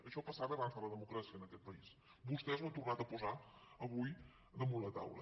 això passava abans de la democràcia en aquest país vostès ho han tornat a posar avui damunt la taula